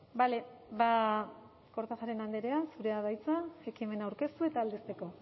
bale kortajarena andrea zurea da hitza ekimena aurkeztu eta aldezteko